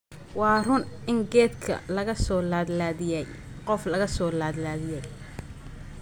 Waa run in geedkii la soo laadlaadiyay qof laga soo laadlaadiyay